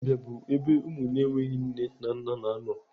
Ụlọ mbìa bụ ebe ụmụ na-enweghị nne na nna na anọ.